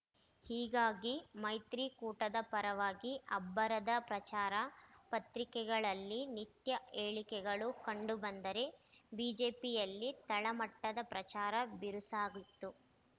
ಹೀಗಾಗಿ ಮೈತ್ರಿಕೂಟದ ಪರವಾಗಿ ಅಬ್ಬರದ ಪ್ರಚಾರ ಪತ್ರಿಕೆಗಳಲ್ಲಿ ನಿತ್ಯ ಹೇಳಿಕೆಗಳು ಕಂಡು ಬಂದರೆ ಬಿಜೆಪಿಯಲ್ಲಿ ತಳಮಟ್ಟದ ಪ್ರಚಾರ ಬಿರುಸಾಗಿತ್ತು